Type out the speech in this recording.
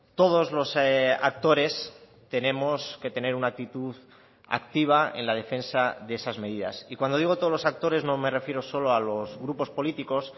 todos los actores tenemos que tener una actitud activa en la defensa de esas medidas y cuando digo todos los actores no me refiero solo a los grupos políticos